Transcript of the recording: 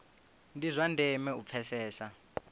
ndi zwa ndeme u pfesesa